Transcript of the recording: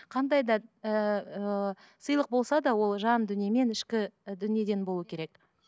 қандай да ыыы сыйлық болса да ол жан дүниемен ішкі дүниеден болу керек